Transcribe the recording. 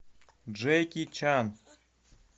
джеки чан